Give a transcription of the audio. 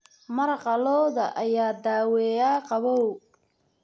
Maraqa lo'da ayaa daaweeya qabow.